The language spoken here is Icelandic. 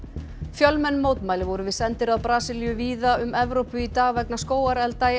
fjölmenn mótmæli voru við sendiráð Brasilíu víða um Evrópu í dag vegna skógarelda í